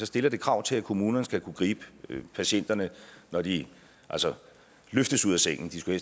stiller det krav til at kommunerne skal kunne gribe patienterne når de løftes ud af sengen de skulle